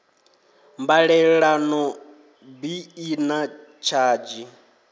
mbalelano bi i na tshadzhi